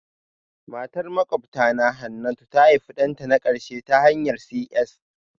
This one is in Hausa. Matar makwabtana Hannatu ta haifi ɗanta na ƙarshe ta hanyar CS